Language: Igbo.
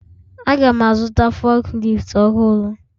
Aga'm azụta fukleeftu ọhụrụ